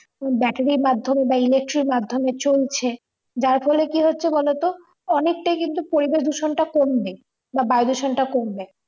battery মাদ্ধমে বা electric মাধ্যমে চলছে যার ফলে কি হচ্ছে বলো তো অনেকটাই কিন্তু পরিবেশ দূষণটা কমবে বা বায়ুদূষণটা কমবে